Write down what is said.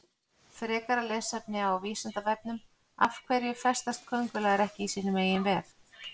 Frekara lesefni á Vísindavefnum Af hverju festast köngulær ekki í sínum eigin vef?